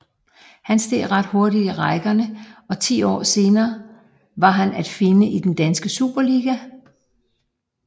Han steg ret hurtigt i rækkerne og ti år senere var han at finde i den danske Superliga